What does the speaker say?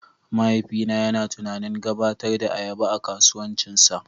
Mahaifina yana tunanin gabatar da ayaba a kasuwancinsa.